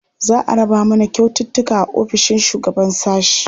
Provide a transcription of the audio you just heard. Za a raba mana kyaututtuka a ofishin shugaban sashe.